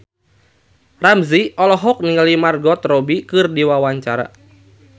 Ramzy olohok ningali Margot Robbie keur diwawancara